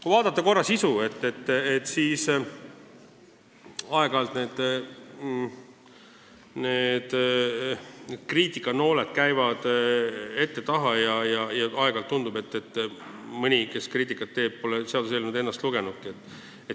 Kui vaadata sisu, siis kriitikanooled lendavad ette ja taha, ent aeg-ajalt tundub, et mõni, kes kriitikat teeb, pole seaduseelnõu ennast lugenudki.